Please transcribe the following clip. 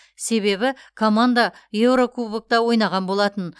себебі команда еурокубокта ойнаған болатын